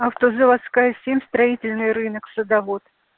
автозаводская семь строительный рынок садовод